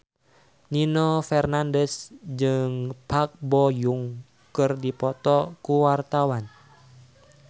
Nino Fernandez jeung Park Bo Yung keur dipoto ku wartawan